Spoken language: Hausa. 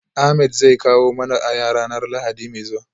Ahmed zai kawo mana aya ranar lahadi mai zuwa